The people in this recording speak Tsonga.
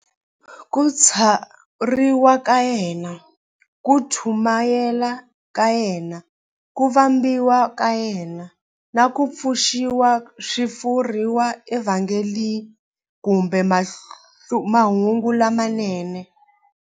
Ku tswariwa ka yena, ku chumayela ka yena, ku vambiwa ka yena, na ku pfuxiwa swi vuriwa eVhangeli kumbe"Mahungu lamanene".